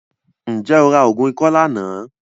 Ǹjẹ́ o ra oògùn ikọ́ lánàá?